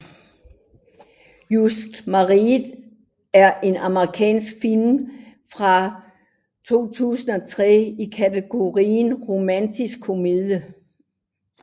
Just Married er en amerikansk film fra 2003 i kategorien romantisk komedie